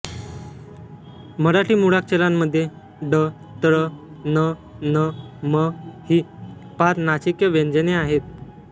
मराठी मुळाक्षरांमध्ये ङ ञ ण न म ही पाच नासिक्य व्यंजने आहेत